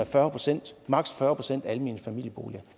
fyrre procent almene familieboliger